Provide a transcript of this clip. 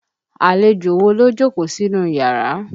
Àlejò wo ló jókòó sínú yàrá?